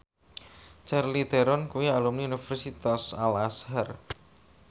Charlize Theron kuwi alumni Universitas Al Azhar